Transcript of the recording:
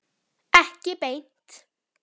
Ekki beint